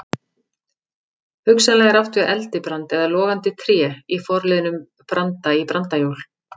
Hugsanlega er átt við eldibrand eða logandi tré í forliðnum branda- í brandajól.